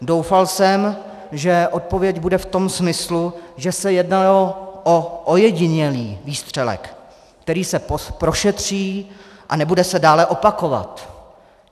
Doufal jsem, že odpověď bude v tom smyslu, že se jednalo o ojedinělý výstřelek, který se prošetří a nebude se dále opakovat.